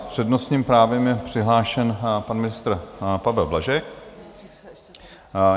S přednostním právem je přihlášen pan ministr Pavel Blažek.